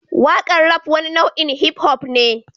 Waƙar Rap wani nau'in hip-hop ne